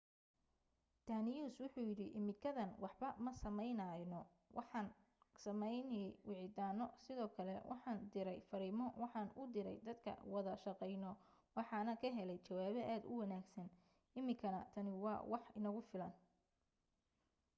danius wuxuu yidhi iminkadan waxba ma sameyneyno waxaan sameeyey wicitaano sidoo kale waxaan direy fariimo waxaan u direy dadka wada shaqeyno waxaana ka heley jawaabo aad u wanagsan iminkana tani waa wax nagu filan